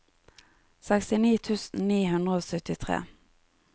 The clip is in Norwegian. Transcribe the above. sekstini tusen ni hundre og syttitre